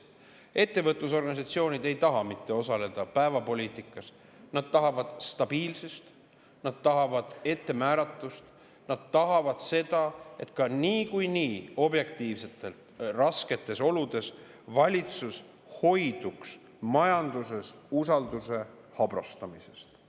Ettevõtlusorganisatsioonid ei taha mitte osaleda päevapoliitikas, vaid nad tahavad stabiilsust, nad tahavad ettemääratust, nad tahavad seda, et ka niikuinii objektiivselt rasketes oludes valitsus hoiduks majanduses usalduse habrastamisest.